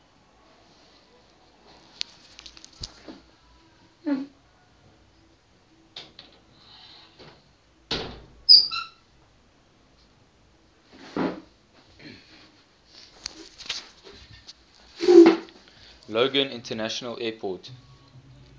logan international airport